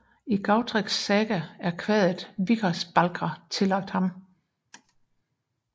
I Gautreks saga er kvadet Vikarsbálkr tillagt ham